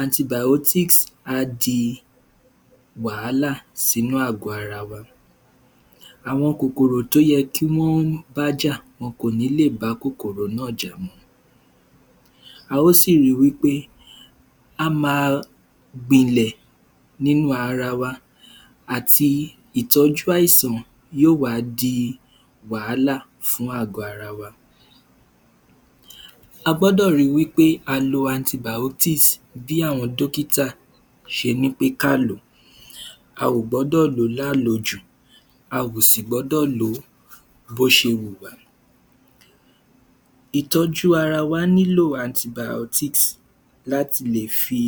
antibàótísì á di wàhàlà sínú àgọ ara wa àwọn kòkòrò tó ye kí wọ́n bá jà wọ́n kò ní lè bá kòkòrò náà jà a ó sì ri wí pé á ma gbinlẹ̀ nínú ara wa àti ìtọ́jú àìsàn yó wá di wàhálà fún àgọ́ ara wa a gbọ́dọ̀ ri wí pé a lo antibàótísì bí àwọn dókítà ṣe ní pé ká lò ó a gbọ́dọ̀ lò ó lá lo jù a o si ̀ gbọ́dọ̀ lò ó bó ṣe wù wá ìtọ́jú ara wa ní lò antibàótísì láti lè fi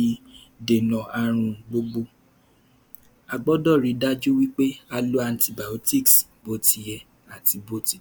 dè nà àrùn gbogbo a gbọ́dọ̀ ri dájú wí pé a lo antibáòtísì bótiyẹ àti bótitọ́